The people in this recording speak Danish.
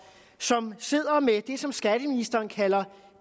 som sidder med det som skatteministeren kalder